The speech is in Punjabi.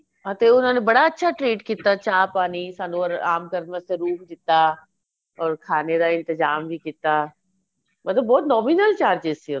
ਹਾਂ ਤੇ ਉਹਨਾ ਨੇ ਬੜਾ ਅੱਛਾ treat ਕੀਤਾ ਚਾਹ ਪਾਣੀ ਸਾਨੂੰ ਆਰਾਮ ਕਰਨ ਵਾਸਤੇ room ਦਿਤਾ or ਖਾਣੇ ਦਾ ਇੰਤਜਾਮ ਵੀ ਕੀਤਾ ਮਤਲਬ ਬਹੁਤ nominal charges ਸੀ